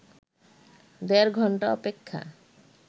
দেড় ঘণ্টা অপেক্ষা